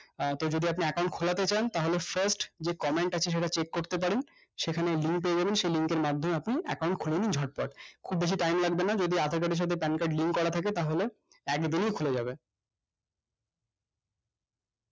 তো যদি আপনি account খোলাতে চান তাহলে first comment আছে সেখানে check করতে পারেন সেখানে link পেয়ে যাবেন সেই link এর মাধ্যমে account খুলে নিন ঝটপট খুব বেশি time লাগবেনা যদি aadhaar card এর সাথে pan card link করা থেকে তাহলে এক দিনে খুলে যাবে